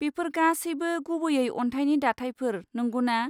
बेफोर गासैबो गुबैयै अन्थाइनि दाथायफोर, नंगौना?